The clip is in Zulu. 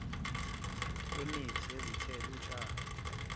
wemithi yezithelo utshale